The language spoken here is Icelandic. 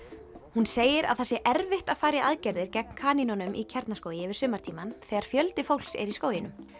hún segir að það sé erfitt að fara í aðgerðir gegn kanínunum í Kjarnaskógi yfir sumartímann þegar fjöldi fólks er í skóginum